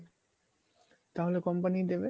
তাহলে কমিয়ে দেবে